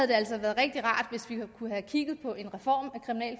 det altså været rigtig rart hvis vi kunne have kigget på en reform